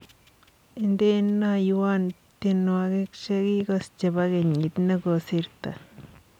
Indenoywon tyenwogik chegigos chebo kenyit negosirtoi